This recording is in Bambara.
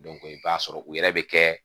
i b'a sɔrɔ u yɛrɛ bɛ kɛ